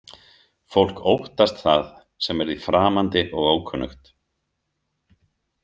Fólk óttast það sem er því framandi og ókunnugt.